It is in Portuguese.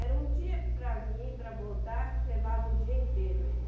Era um dia para vir, e para voltar, levava o dia inteiro aí.